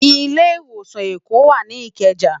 Ilé Iwósán Ékó wá ni Ikeja